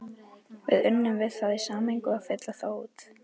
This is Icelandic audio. Við unnum við það í sameiningu að fylla þá út.